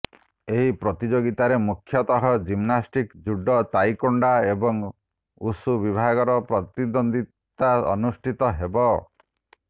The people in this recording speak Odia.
ଏହି ପ୍ରତିଯୋଗିତାରେ ମୁଖ୍ୟତଃ ଜିମ୍ନାଷ୍ଟିକ୍ସ ଜୁଡ଼ୋ ତାଇକୋଣ୍ଡୋ ଏବଂ ଉଷୁ ବିଭାଗରେ ପ୍ରତିଦ୍ୱିତା ଅନୁଷ୍ଠିତ ହେଉଛି